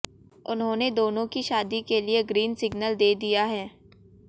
उन्होंने दोनों की शादी के लिए ग्रीन सिग्नल दे दिया है